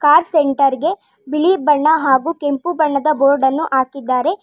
Car centre ಗೆ ಬಿಳಿ ಬಣ್ಣ ಹಾಗು ಕೆಂಪು ಬೋರ್ಡ್ ಅನ್ನು ಹಾಕಿದ್ದಾರೆ.